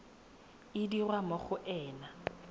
e dirwa mo go ena